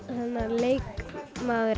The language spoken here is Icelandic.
leikmaður